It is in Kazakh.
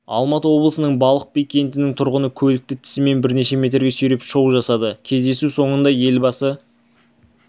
алматы облысының балпық би кентінің тұрғыны көлікті тісімен бірнеше метрге сүйреп шоу жасады кездесу соңында елбасы